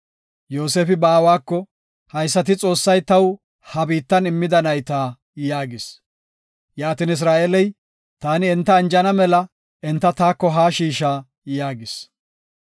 Yoosefi ba aawako, “Haysati Xoossay taw ha biittan immida nayta” yaagis. Yaatin Isra7eeley, “Taani enta anjana mela, enta taako haa shiisha” yaagis.